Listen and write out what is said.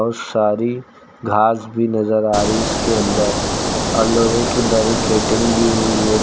सारी घास भी नजर आ रही इसके अंदर आ लोहे की बैरीकेटिंग भी हुई है।